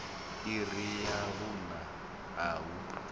iri ya vhuṋa a hu